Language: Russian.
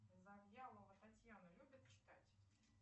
завьялова татьяна любит читать